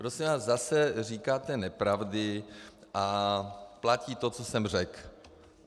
Prosím vás, zase říkáte nepravdy a platí to, co jsem řekl.